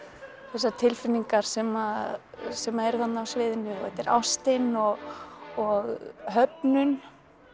þessar tilfinningar sem sem eru þarna á sviðinu og þetta er ástin og og höfnun